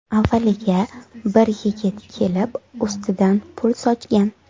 Avvaliga bir yigit kelib ustidan pul sochgan.